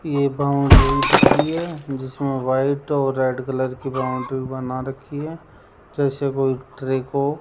ये बाउंड्री दिख रही है जिसमें व्हाइट और रेड कलर की बाउंड्री बना रखी है जैसे कोई ट्री को --